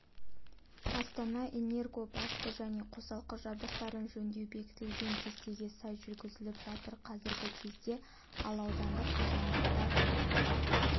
астана-энерго басты және қосалқы жабдықтарын жөндеу бекітілген кестеге сай жүргізіліп жатыр қазіргі кезде ал аудандық қазандықтар